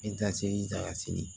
Ntasi ta ka se